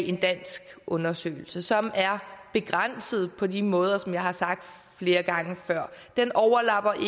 en dansk undersøgelse som er begrænset på de måder som jeg har sagt flere gange før den overlapper